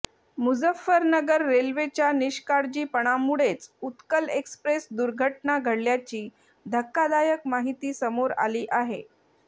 मुजफ्फरनगर रेल्वेच्या निष्काळजीपणामुळेच उत्कल एक्स्प्रेस दुर्घटना घडल्याची धक्कादायक माहिती समोर आली आहे